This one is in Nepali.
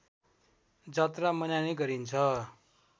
जात्रा मनाइने गरिन्छ